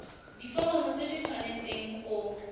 diforomo tse di tshwanesteng go